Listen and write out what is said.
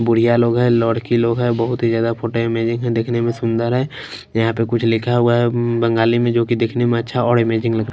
बुढ़िया लोग हैं लोड़की लोग है बहुत ही ज्यादा फोटो अमेजिंग है देखने में सुंदर है यहां पे कुछ लिखा हुआ हैबंगाली में जो कि देखने में अच्छा और अमेजिंग लग--